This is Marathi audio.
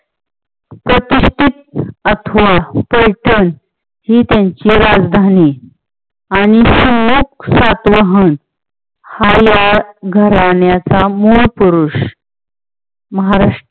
अथवा ही त्यांची राजधानी आणि सातवहन हा या घरण्याचा मूळ पुरुष. महारा